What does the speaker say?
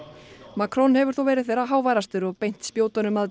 Macron hefur þó verið þeirra háværastur og beint spjótunum að